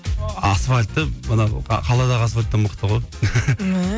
асфальті мына қаладағы асфальттан мықты ғой